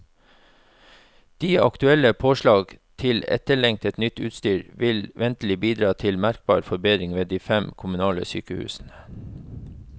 De aktuelle påslag til etterlengtet, nytt utstyr vil ventelig bidra til merkbar forbedring ved de fem kommunale sykehusene.